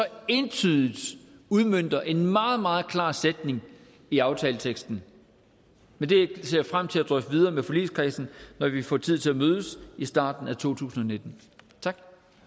entydigt udmønter en meget meget klar sætning i aftaleteksten men det ser jeg frem til at drøfte videre med forligskredsen når vi får tid til at mødes i starten af to tusind og nitten tak